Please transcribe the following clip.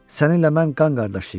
Səninlə mən qan qardaşıyıq.